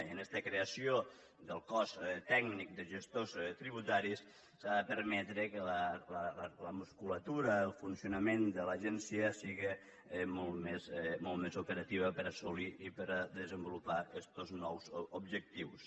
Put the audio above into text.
i amb esta creació del cos tècnic de gestors tributaris s’ha de permetre que la musculatura el funcionament de l’agència siga molt més operatiu per assolir i per a desenvolupar estos nous objectius